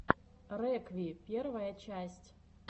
рекви первая часть